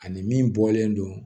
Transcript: Ani min bɔlen don